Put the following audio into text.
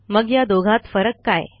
मग या दोघात फरक काय